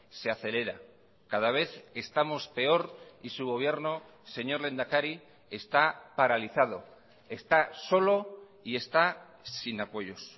se acelera cada vez estamos peor y su gobierno señor lehendakari está paralizado está solo y está sin apoyos